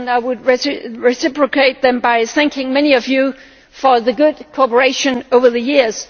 I would like to reciprocate them by thanking many of you for the good cooperation over the years.